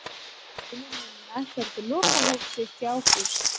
Vinir Nunna héldu lokahóf sitt í ágúst.